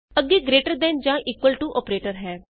ਅੱਗੇ greater than ਜਾਂ equal to operator ਹੈ